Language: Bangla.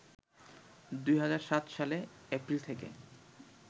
২০০৭ সালে এপ্রিল থেকে